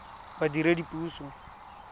badiredipuso